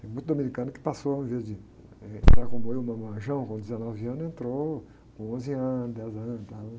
Tem muito dominicano que passou, ao invés de entrar como eu, marmanjão com dezenove anos, entrou com onze anos, dez anos e tal